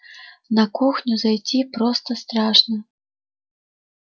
на кухню зайти просто страшно